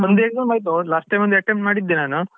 ಒಂದ್ exam ಆಯ್ತು last time ಒಂದು attempt ಮಾಡಿದ್ದೆ ನಾನು.